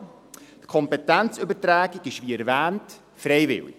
Die Kompetenzübertragung ist, wie erwähnt, freiwillig.